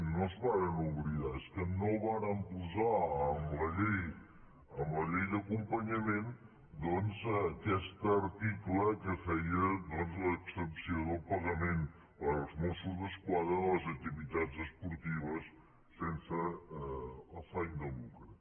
no es varen oblidar és que no varen posar en la llei d’acompanyament doncs aquest article que feia l’exempció del pagament dels mossos d’esquadra en les activitats esportives sense afany de lucre